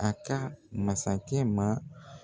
A ka masakɛ ma.